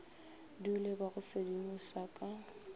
dule ba go sedimoša ka